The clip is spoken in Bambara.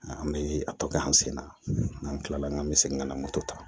An bɛ a tɔ kɛ an sen na n'an kilala an bɛ segin ka na moto ta